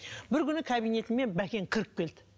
бір күні кабинетіме бәкең кіріп келді